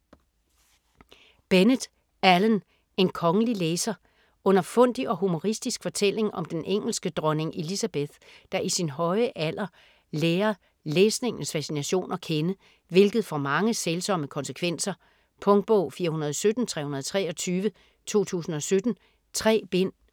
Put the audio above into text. Bennett, Alan: En kongelig læser Underfundig og humoristisk fortælling om den engelske dronning Elizabeth, der i sin høje alder lærer læsningens fascination at kende, hvilket får mange sælsomme konsekvenser. Punktbog 417323 2017. 3 bind.